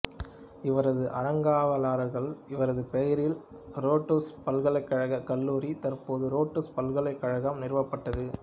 இவரது அறங்காவலர்களால் இவரது பெயரில் ரோட்சு பல்கலைக்கழகக் கல்லூரி தற்போது ரோட்சு பல்கலைக்கழகம் நிறுவப்பட்டது